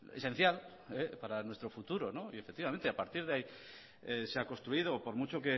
esencial para nuestro futuro y efectivamente a partir de ahí se ha construido por mucho